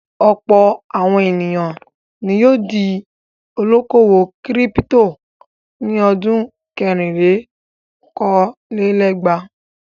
Ọ̀pọ̀ àwọn ènìyàn ni yóò di olókòwò kírípító ní ọdún kẹrìnlélókòó-lé-ẹgvàá..